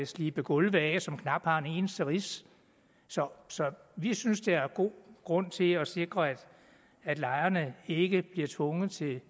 slibe gulve af som knap har fået en eneste ridse så så vi synes der er god grund til at sikre at lejerne ikke bliver tvunget til